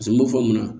Paseke n m'o fɔ mun na